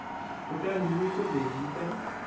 kutani nyiko leyi yi ta